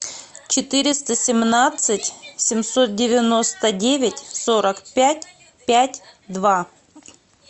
четыреста семнадцать семьсот девяносто девять сорок пять пять два